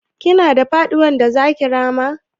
Kina da faɗuwar da zaki rama?